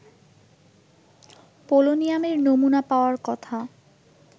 পোলোনিয়ামের নমুনা পাওয়ার কথা